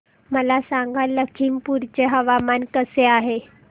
मला सांगा लखीमपुर चे हवामान कसे आहे